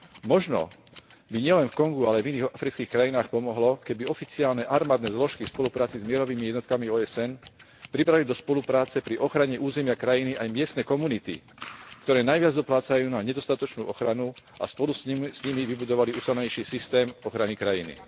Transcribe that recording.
Možno by nielen v Kongu, ale aj v iných afrických krajinách pomohlo, keby oficiálne armádne zložky v spolupráci s mierovými jednotkami OSN priberali do spolupráce pri ochrane územia krajiny aj miestne komunity, ktoré najviac doplácajú na nedostatočnú ochranu a spolu s nimi vybudovali ucelenejší systém krajiny.